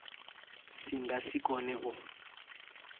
si nga si kone u